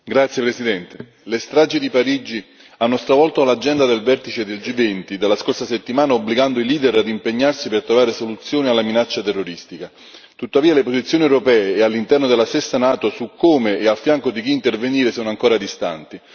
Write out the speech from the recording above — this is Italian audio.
Signor Presidente, onorevoli colleghi, le stragi di Parigi hanno stravolto l'agenda del vertice del G20 della scorsa settimana, obbligando i leader ad impegnarsi per trovare soluzioni alla minaccia terroristica. Tuttavia, le posizioni europee e all'interno della stessa NATO su come e a fianco di chi intervenire sono ancora distanti.